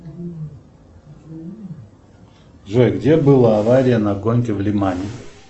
джой где была авария на гонке в лимане